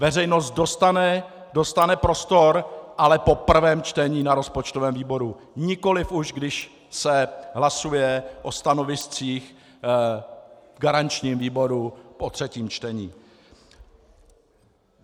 Veřejnost dostane prostor, ale po prvém čtení na rozpočtovém výboru, nikoli už když se hlasuje o stanoviscích v garančním výboru po třetím čtení.